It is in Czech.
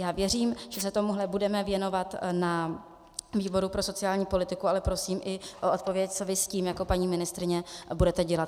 Já věřím, že se tomuhle budeme věnovat na výboru pro sociální politiku, ale prosím i o odpověď, co vy s tím jako paní ministryně budete dělat.